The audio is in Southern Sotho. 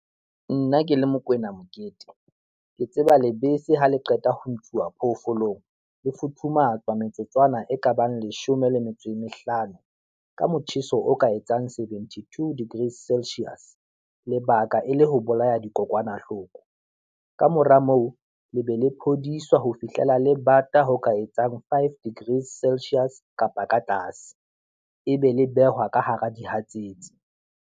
Nna ke le Mokoena Mokete, ke tseba lebese ha le qeta ho ntshuwa phoofolong, le futhumatsa metsotswana e kabang leshome le metso e mehlano, ka motjheso o ka etsang seventy two degrees celsius lebaka e le ho bolaya dikokwanahloko. Ka mora moo, le be le phodiswa ho fihlela le bata ho ka etsang five degrees celsius kapa ka tlaase, e be le behwa ka hara dihatsetsi.